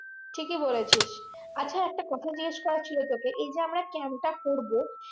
ঠিকই বলেছিস আচ্ছা একটা কথা জিগেশ করার ছিল তোকে এই যে আমরা camp তা করবো